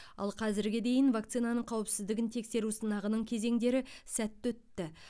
ал қазірге дейін вакцинаның қауіпсіздігін тексеру сынағының кезеңдері сәтті өтті